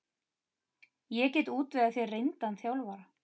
Ég get útvegað þér reyndan þjálfara.